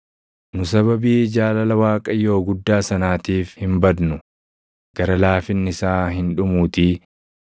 Nu sababii jaalala Waaqayyoo guddaa sanaatiif hin badnu; gara laafinni isaa hin dhumuutii.